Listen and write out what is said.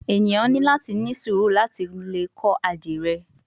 Eniyan ni lati ni suuru lati le kọ adire